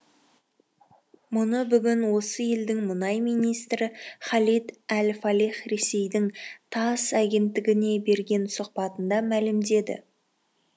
мұны бүгін осы елдің мұнай министрі халид әл фалих ресейдің тасс агенттігіне берген сұқбатында мәлімдеді